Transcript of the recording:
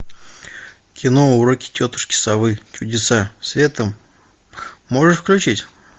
кино уроки тетушки совы чудеса света можешь включить